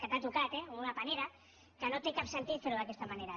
que t’ha tocat una panera que no té cap sentit fer ho d’aquesta manera